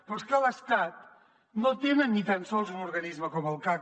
però és que a l’estat no tenen ni tan sols un organisme com el cac